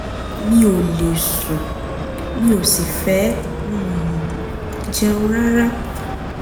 mi ò lè sùn mi ò sì fẹ́ um jẹun rárá